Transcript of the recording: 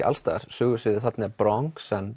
alls staðar sögusviðið þarna er Bronx